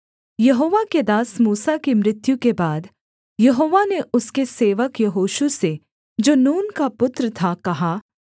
यहोवा के दास मूसा की मृत्यु के बाद यहोवा ने उसके सेवक यहोशू से जो नून का पुत्र था कहा